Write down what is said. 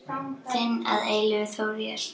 Þinn að eilífu, Þór Jes.